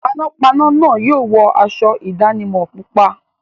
Panápaná náà yóò wọ aṣọ ìdánimọ̀ pupa.